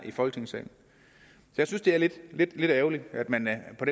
i folketingssalen jeg synes det er lidt lidt ærgerligt at man på